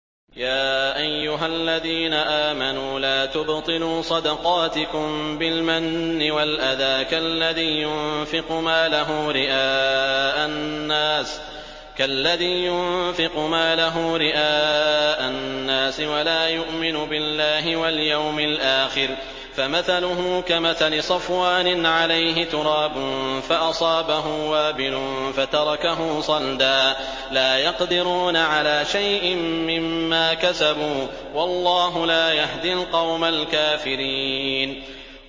يَا أَيُّهَا الَّذِينَ آمَنُوا لَا تُبْطِلُوا صَدَقَاتِكُم بِالْمَنِّ وَالْأَذَىٰ كَالَّذِي يُنفِقُ مَالَهُ رِئَاءَ النَّاسِ وَلَا يُؤْمِنُ بِاللَّهِ وَالْيَوْمِ الْآخِرِ ۖ فَمَثَلُهُ كَمَثَلِ صَفْوَانٍ عَلَيْهِ تُرَابٌ فَأَصَابَهُ وَابِلٌ فَتَرَكَهُ صَلْدًا ۖ لَّا يَقْدِرُونَ عَلَىٰ شَيْءٍ مِّمَّا كَسَبُوا ۗ وَاللَّهُ لَا يَهْدِي الْقَوْمَ الْكَافِرِينَ